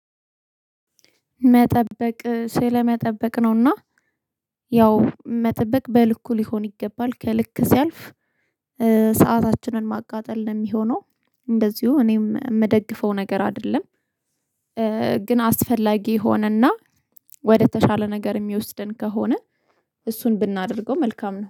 መጠበቅ ስለመጠበቅ ነውና ያው መጠበቅ በልኩ ሊሆን ይገባል ከልክ ሲያልፍ ሰአታችንን ማቃጠል ነው የሚሆነው እንደዚሁ እኔም የምደግፈው ነገር አይደለም ግን አስፈላጊ ሆነና ወደተሻለ ነገር የሚወስደን ከሆነ እሱን ብናደርገው መልካም ነው።